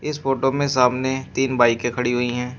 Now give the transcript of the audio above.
इस फोटो में सामने तीन बाईके खड़ी हुई हैं।